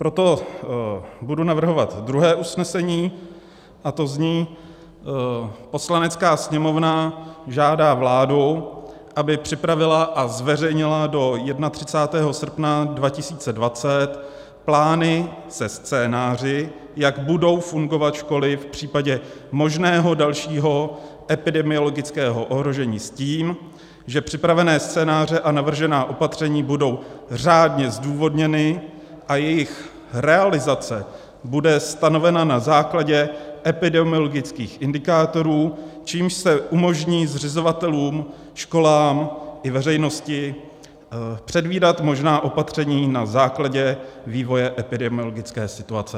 Proto budu navrhovat druhé usnesení a to zní: "Poslanecká sněmovna žádá vládu, aby připravila a zveřejnila do 31. srpna 2020 plány se scénáři, jak budou fungovat školy v případě možného dalšího epidemiologického ohrožení, s tím, že připravené scénáře a navržená opatření budou řádně zdůvodněny a jejich realizace bude stanovena na základě epidemiologických indikátorů, čímž se umožní zřizovatelům, školám i veřejnosti předvídat možná opatření na základě vývoje epidemiologické situace."